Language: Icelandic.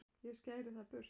ég skæri það burt